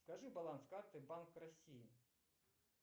скажи баланс карты банк россии